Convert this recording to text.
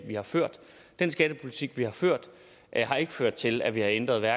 vi har ført den skattepolitik vi har ført har ikke ført til at vi har ændret